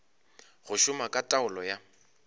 go šoma ka taolo ya